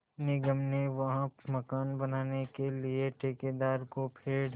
निगम ने वहाँ मकान बनाने के लिए ठेकेदार को पेड़